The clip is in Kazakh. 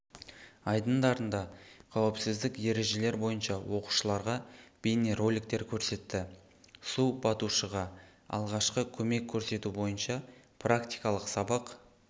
айдындарында кауіпсіздік ережелер бойынша оқушыларға бейнероликтер көрсетті су батушыға алғашқа көмек көрсету бойынша практикалық сабақ